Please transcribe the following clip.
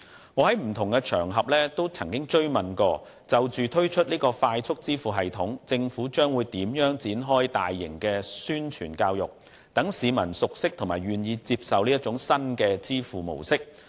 我在不同場合也曾多次追問，就着即將推出的"快速支付系統"，政府將會如何展開大型的宣傳教育，讓市民熟悉和願意接受新的支付模式。